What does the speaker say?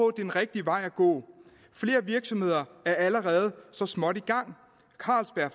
den rigtige vej at gå flere virksomheder er allerede så småt i gang carlsberg